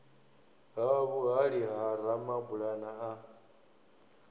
ha vhuhali ha ramabulana a